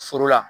Foro la